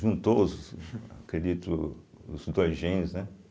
Juntou os, acredito, os dois gênios, né?